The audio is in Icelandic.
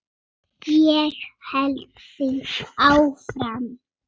Ég held því áfram.